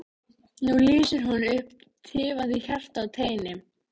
Nú lýsir hún upp tifandi hjarta á teini.